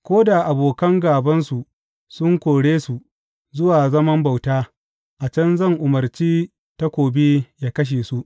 Ko da abokan gābansu sun kore su zuwa zaman bauta, a can zan umarci takobi yă kashe su.